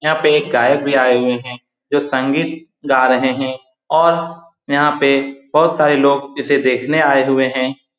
यहाँ पे एक गायक भी आए हुए है जो संगीत गा रहे हैं और यहाँ पे बहुत सारे लोग इसे देखने आए हुए हैं।